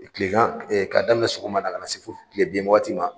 Kilegan e ka daminɛ sɔgɔma na ka na se fo kile bin waagati ma.